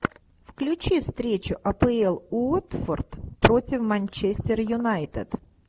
включи встречу апл уотфорд против манчестер юнайтед